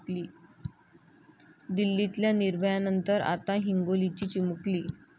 दिल्लीतल्या निर्भयानंतर, आता हिंगोलीची चिमुकली